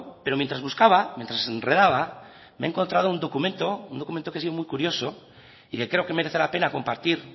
pero mientras buscaba mientras enredaba me he encontrado un documento un documento que ha sido muy curioso y que creo que merece la pena compartir